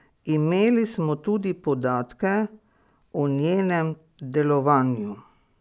Imeli smo tudi podatke o njenem delovanju.